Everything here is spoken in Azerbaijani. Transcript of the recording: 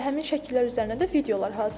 Və həmin şəkillər üzərinə də videolar hazırlanır.